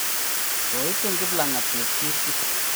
Koitun Kiplang'at Chepchirchir.